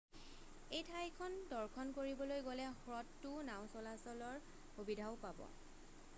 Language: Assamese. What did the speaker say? এই ঠাইখন দৰ্শন কৰিবলৈ গ'লে হ্ৰদটোত নাও চলাচলৰ সুবিধাও পাব